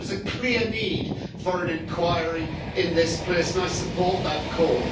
There is a clear need for an inquiry in this place, and I support that call.